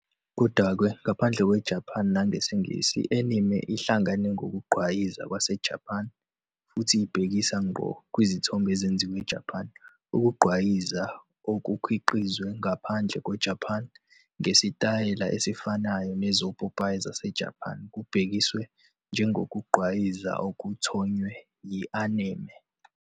Kodwa-ke, ngaphandle kweJapane nangesiNgisi, i-anime ihlangana ngokugqwayiza kwaseJapan futhi ibhekisa ngqo kwizithombe ezenziwa eJapan. Ukugqwayiza okukhiqizwe ngaphandle kweJapane ngesitayela esifanayo nezopopayi zaseJapan kubhekiswa njengokugqwayiza okuthonywe yi-anime.